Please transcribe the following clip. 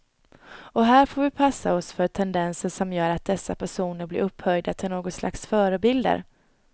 Och här får vi passa oss för tendenser som gör att dessa personer blir upphöjda till något slags förebilder.